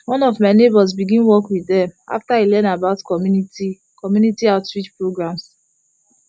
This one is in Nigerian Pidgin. one of my neighbors begin work with them after e learn about community community outreach programs